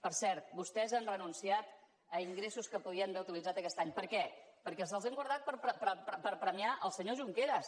per cert vostès han renunciat a ingressos que podien d’haver utilitzar aquest any per què perquè se’ls han guardat per premiar el senyor junqueras